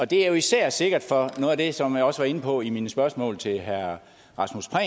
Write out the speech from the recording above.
det er jo især sikkert for som jeg også var inde på i mine spørgsmål til herre rasmus prehn